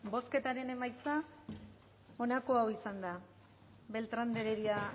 bozketan emaitza onako izan da beltrán de heredia